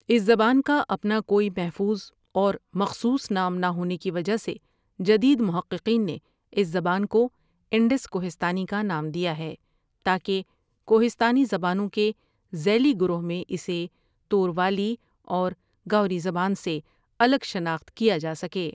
اس زبان کا اپنا کوئی محفوظ اور مخصوص نام نہ ہونے کی وجہ سے جدید محققین نے اس زُبان کو انڈس کوہستانی کا نام دیا ہے تا کہ کوہستانی زبانوں کے ذیلی گروہ میں اسے توروالی اور گاؤری زبان سے الگ شناخت کیا جا سکے ۔